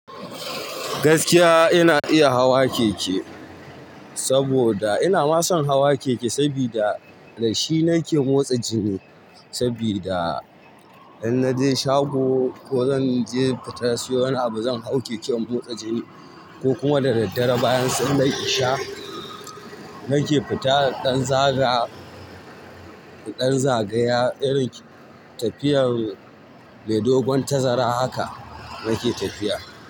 Gaskiya ina iya hawa keke, saboda ina ma son hawa keke sabida da shi nake motsa jini sabida in na je shago ko zan je fita siyo wani abu zan hau keke in motsa jini ko kuma da daddare bayan sallar isha nake fita in ɗan zaga, dan zagaya irin tafiyar mai dogon tazara haka nake tafiya.